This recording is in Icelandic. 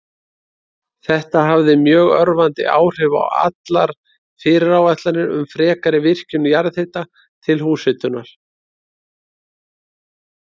Þetta hafði mjög örvandi áhrif á allar fyrirætlanir um frekari virkjun jarðhita til húshitunar.